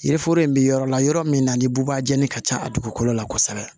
Yiri foro in bɛ yɔrɔ la yɔrɔ min na ni bubajan ka ca a dugukolo la kosɛbɛ